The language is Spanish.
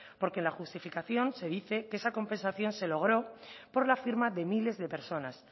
porque en la justificación se dice que esa compensación se logró por la firma de miles de personas